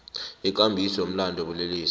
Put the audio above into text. wekambiso yemilandu yobulelesi